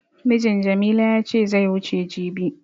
Mijin Jamila ya ce zai wuce jibi.